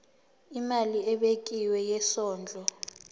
imali ebekiwe yesondlo